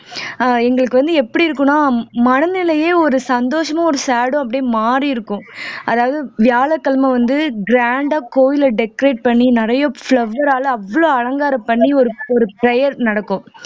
அஹ் எங்களுக்கு வந்து எப்படி இருக்குன்னா மனநிலையே ஒரு சந்தோஷமா ஒரு sad உம் அப்படியே மாறி இருக்கும் அதாவது வியாழக்கிழமை வந்து grand ஆ கோயிலை decorate பண்ணி நிறைய flower ஆல அவ்ளோ அலங்காரம் பண்ணி ஒரு ஒரு prayer நடக்கும்